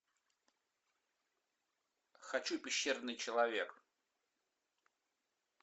хочу пещерный человек